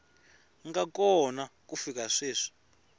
nga kona ku fika sweswi